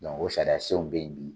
o sariyasenw bɛ ye bi.